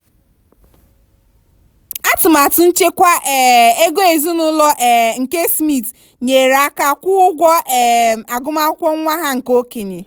atụmatụ nchekwa um ego ezinụlọ um nke smith nyere aka kwụọ ụgwọ um agụmakwụkwọ nwa ha nke okenye.